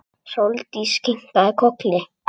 Sóldís kinkaði kolli.